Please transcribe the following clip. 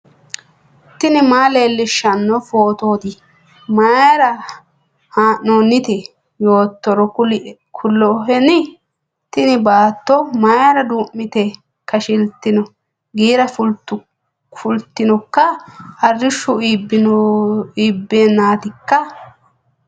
tini maa leellishshanno phootooti mayra haa'noonnite yoottoro kuloheni ? tini baaato mayra duu'mite kashsi'litino giira fultinoikka ? arrishshu iibbeenatikka ?